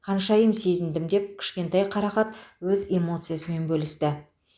ханшайым сезіндім деп кішкентай қарақат өз эмоциясымен бөлісті